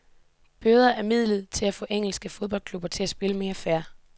Bøder er midlet til at få engelske fodboldklubber til at spille mere fair.